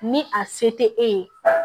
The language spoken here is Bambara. Ni a se tɛ e ye